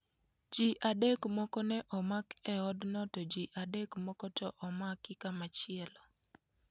Ji adek moko ne omak e odno to ji adek moko to omak komachielo.